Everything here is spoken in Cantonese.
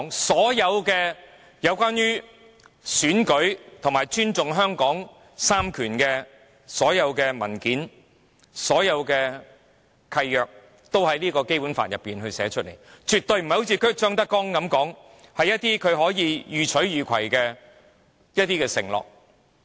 所有關於選舉和尊重香港三權分立的文件和契約均已在《基本法》中列明，絕非一如張德江所說般，只是一些讓他予取予攜的承諾。